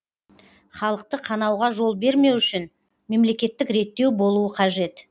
халықты қанауға жол бермеу үшін мемлекеттік реттеу болуы қажет